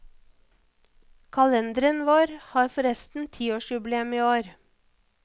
Kalenderen vår har forresten tiårsjubileum i år.